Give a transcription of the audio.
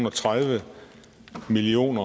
og tredive million